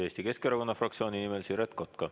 Eesti Keskerakonna fraktsiooni nimel Siret Kotka.